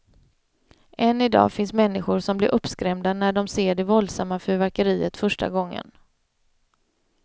Än idag finns människor som blir uppskrämda när de ser det våldsamma fyrverkeriet första gången.